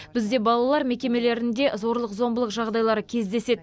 бізде балалар мекемелерінде зорлық зомбылық жағдайлары кездеседі